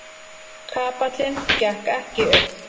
Kapallinn gekk ekki upp.